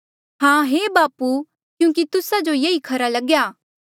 हां हे बापू क्यूंकि तुस्सा जो ये ई खरा लग्या